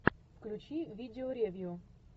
включи видео ревью